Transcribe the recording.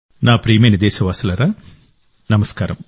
నా ప్రియమైన దేశవాసులారా నమస్కారం